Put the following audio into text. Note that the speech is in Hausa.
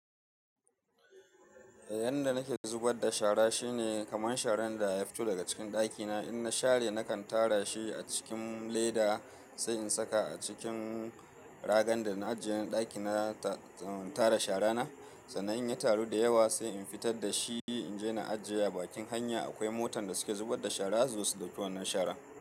Yanda nake zubarda shara shine kaman sharan da ya fito daga cikin dakina, in na share nakan tara shi a cikin leda sai in saka a cikin ragan da na ajiye na ɗaki na tara sharana. Sannan in ya taru da yawa sai in fitar da shi in je na ajiye a bakin hanya. Akwai motan da suke zubarda shara su zo su ɗauki wannan shara.